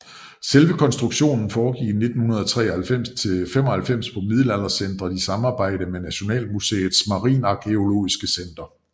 Selve rekonstruktionen foregik fra 1993 til 1995 på Middelaldercentret i samarbejde med Nationalmuseets Marinearkæologiske Center